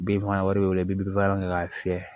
Binfagalan b'i bolo i bɛ bin fagalan kɛ k'a fiyɛ